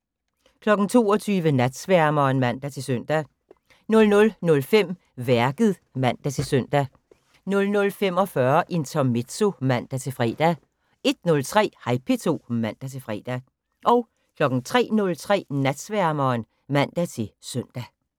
22:00: Natsværmeren (man-søn) 00:05: Værket (man-søn) 00:45: Intermezzo (man-fre) 01:03: Hej P2 (man-fre) 03:03: Natsværmeren (man-søn)